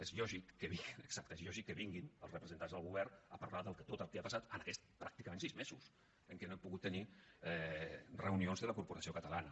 és lògic que vinguin exacte és lògic que vinguin els representants del govern a parlar de tot el que ha passat en aquests pràcticament sis mesos en què no hem pogut tenir reunions de la corporació catalana